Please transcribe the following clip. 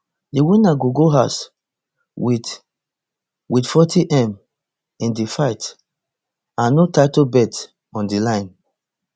di winner go go house wit wit fortym in di fight and no title belts on di line